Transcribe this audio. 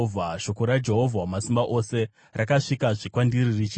Shoko raJehovha Wamasimba Ose rakasvikazve kwandiri richiti: